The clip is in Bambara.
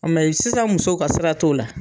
Mɛ sisan musoq ka sira t'o la.